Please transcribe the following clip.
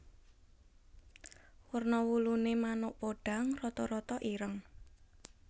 Werna wuluné manuk podhang rata rata ireng